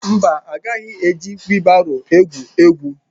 Mba, ị gaghị eji wiilbaro egwu egwu